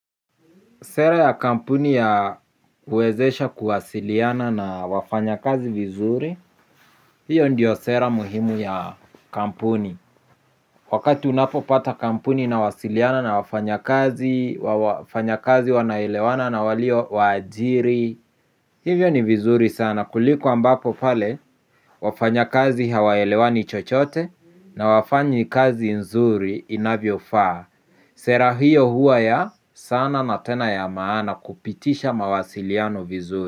Sera ya kampuni ya huwezesha kuwasiliana na wafanyakazi vizuri, hiyo ndiyo sera muhimu ya kampuni. Wakati unapopata kampuni inawasiliana na wafanyakazi, wafanyakazi wanaelewana na waliowaajiri, hivyo ni vizuri sana. Kuliko ambapo pale, wafanyakazi hawaelewani chochote na hawafanyi kazi nzuri inavyofaa. Sera hiyo huwa ya sana na tena ya maana kupitisha mawasiliano vizuri.